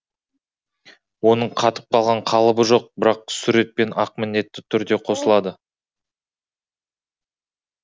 оның қатып қалған қалыбы жоқ бірақ сүр ет пен ақ міндетті түрде қосылады